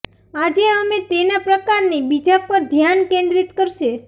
આજે અમે તેના પ્રકારની બીજા પર ધ્યાન કેન્દ્રિત કરશે